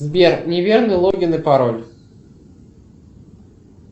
сбер неверный логин и пароль